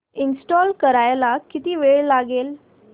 install करायला किती वेळ लागेल